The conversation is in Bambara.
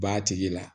B'a tigi la